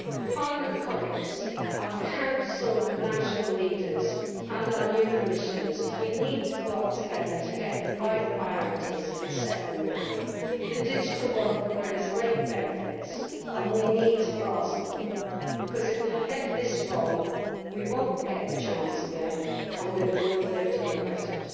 Parliament colleagues, our Council and national leaders and our new Commissioners, we need to work together to get the right priorities and set them now. The digital world can bring us great benefits and we need to grasp them, because if we get this wrong, we will not get the chance again, and we will all live to regret it.